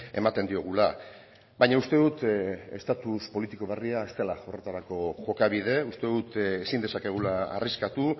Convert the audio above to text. ematen diogula baina uste dut estatus politiko berria ez dela horretarako jokabide uste dut ezin dezakegula arriskatu